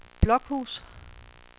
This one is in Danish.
Blokhus